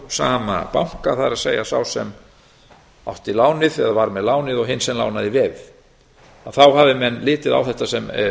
sama banka það er sá sem átti lánið eða var með lánið og hinn sem lánaði veðið þá hafi menn litið á þetta sem